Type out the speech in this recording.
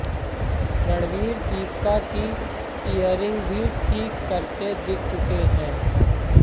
रणवीर दीपिका की इयररिंग भी ठीक करते दिख चुके हैं